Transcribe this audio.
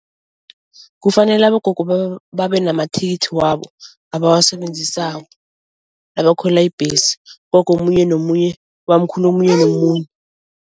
Kufanele abogogo babe namathikithi wabo abawasebenzisako nabakhwela ibhesi. Ugogo omunye nomunye, ubamkhulu omunye nomunye.